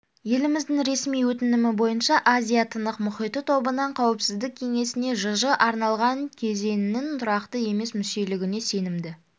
еліміздің ресми өтінімі бойынша азия-тынық мұхиты тобынан қауіпсіздік кеңесіне жж арналған кезеңнің тұрақты емес мүшелігіне сенімді